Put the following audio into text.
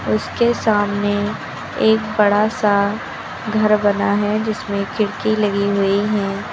उसके सामने एक बड़ा सा घर बना है जिसमें खिड़की लगी हुई हैं।